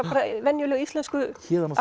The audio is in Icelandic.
venjulegu íslensku